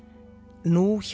nú hjá